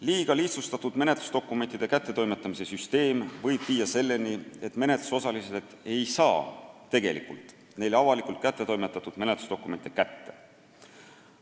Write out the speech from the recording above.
Liiga lihtsustatud menetlusdokumentide kättetoimetamise süsteem võib viia selleni, et menetlusosalised ei saa tegelikult neile avalikult kätte toimetatud menetlusdokumente kätte.